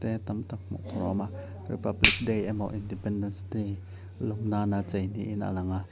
tam tak hmuh tur a awm a republic day emaw independence day lawm nana cheu niin a lang a.